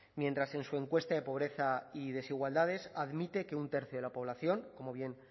mientras en su encuesta de pobreza y desigualdades admite que un tercio de la población como bien